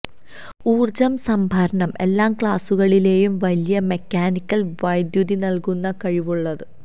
ഊർജ്ജ സംഭരണം എല്ലാ ക്ലാസുകളിലെയും വലിയ മെക്കാനിക്കൽ വൈദ്യുതി നൽകുന്നത് കഴിവുള്ള